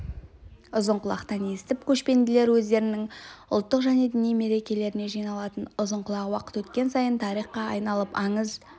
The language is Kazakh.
ұзынқұлақтан естіп көшпенділер өздерінің ұлттық және діни мерекелеріне жиналатын ұзынқұлақ уақыт өткен сайын тарихқа айналып аңыз